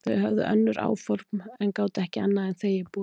Þau höfðu önnur áform en gátu ekki annað en þegið boðið.